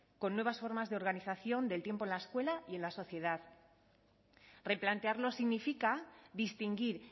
con nuevas formas de organización del tiempo en la escuela y en la sociedad replantearlo significa distinguir